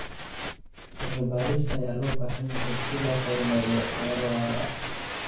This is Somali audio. Cilmi baaris ayaa loo baahan yahay si loo horumariyo beero waara.